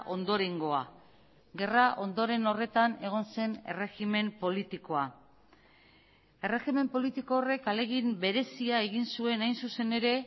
ondorengoa gerra ondoren horretan egon zen erregimen politikoa erregimen politiko horrek ahalegin berezia egin zuen hain zuzen ere